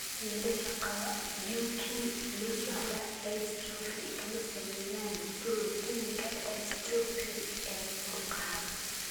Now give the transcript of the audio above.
Wiilasha qaba Duchenne muscular dystrophy kama sameeyaan borotiinka dystrophin ee murqaha.